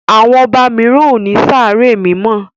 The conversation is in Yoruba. àwọn oba míràn o ní Sáré mímọ